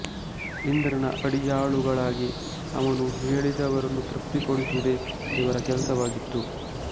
ಇಂದ್ರನ ಅಡಿಯಾಳುಗಳಾಗಿ ಅವನು ಹೇಳಿದವರನ್ನು ತೃಪ್ತಿ ಪಡಿಸುವುದೇ ಇವರ ಕೆಲಸವಾಗಿತ್ತು